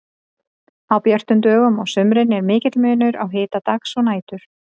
Á björtum dögum á sumrin er mikill munur á hita dags og nætur.